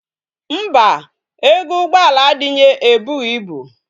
Mba, ego ugboala adinye ebughi ibu